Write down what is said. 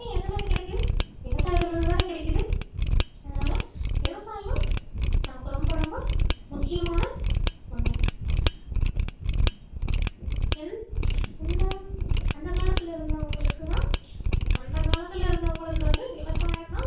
அதனால விவசாயம் நமக்கு ரொம்ப ரொம்ப முக்கியமான ஒண்ணு எந்~இந்த அந்த காலத்துல இருந்தவங்களுக்குதான் அந்த காலத்துல இருந்தவங்களுக்கு வந்து விவசாயம்தான்